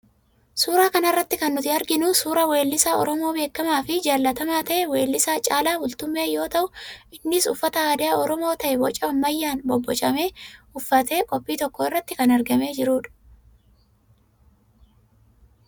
Suuraa kana irratti kan nuti arginu, suuraa weellisaa Oromoo beekamaa fi jaallatamaa ta'e weellisaa Caalaa Bultumee yoo ta'u, innis uffata aadaa Oromoo ta'ee boca ammayyaan bobbocame uffatee qophii tokko irratti kan argamee jirudha.